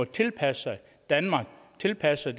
tilpasse sig danmark tilpasse